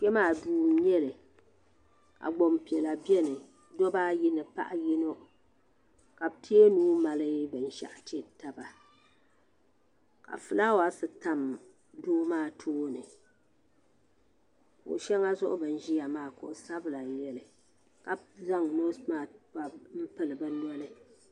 Kpe maa duu n nyɛli ka gbanpiɛla biɛni dobba ayi ni paɣa yino ka bɛ tee nuu mali binshaɣu tiri taba ka filaawaasi tam doo maa tooni kuɣu sheŋa zuɣu bini ʒia maa zaɣa sabla n nyɛli ka zaŋ noosi maasi m pili bɛ noli.